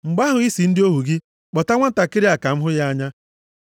“Mgbe ahụ, ị sị ndị ohu gị, ‘Kpọta nwantakịrị a ka m hụ ya anya.’